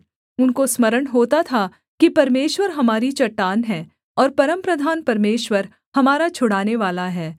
उनको स्मरण होता था कि परमेश्वर हमारी चट्टान है और परमप्रधान परमेश्वर हमारा छुड़ानेवाला है